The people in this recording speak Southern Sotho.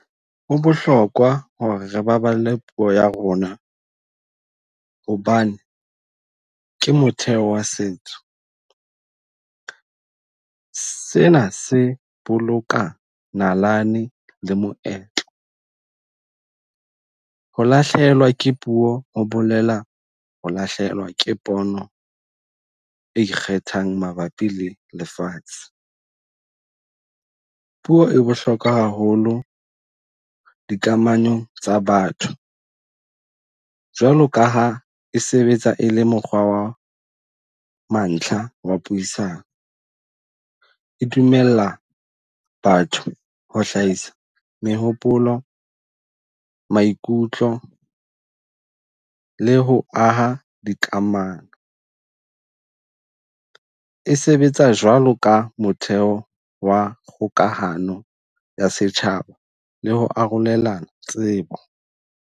Ho bohlokwa hore re baballe puo ya rona hobane ke motheo wa setso. Sena se boloka nalane le moetlo. Ho lahlehelwa ke puo ho bolela ho lahlehelwa ke pono e ikgethang mabapi le lefatshe. Puo e bohlokwa haholo dikamanong tsa batho. Jwalo ka ha e sebetsa e le mokgwa wa mantlha wa puisano. E dumella batho ho hlahisa mehopolo, maikutlo le ho aha dikamano. E sebetsa jwalo ka motheo wa kgokahano ya setjhaba le ho arolelana tsebo.